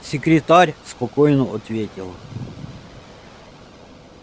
секретарь спокойно ответил